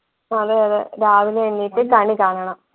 അതെയതെ രാവിലെ എണീറ്റ് കണികാണണം